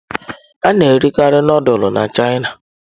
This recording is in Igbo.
A na-erikarị nudulu na Chịana.